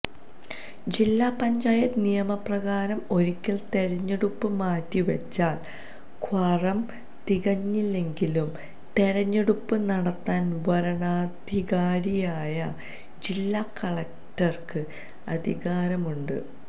ജില്ലാ പഞ്ചായത്ത് നിയമപ്രകാരം ഒരിക്കല് തെരഞ്ഞെടുപ്പ് മാറ്റിവച്ചാല് ക്വാറം തികഞ്ഞില്ലെങ്കിലും തെരഞ്ഞെടുപ്പ് നടത്താന് വരണാധികാരിയായ ജില്ലാ കളക്ടര്ക്ക് അധികാരമുണ്ട്